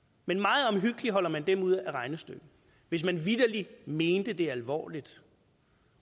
men meget omhyggeligt holder man dem ude af regnestykket hvis man vitterlig mente det alvorligt